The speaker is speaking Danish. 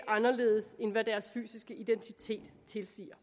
anderledes end hvad deres fysiske identitet tilsiger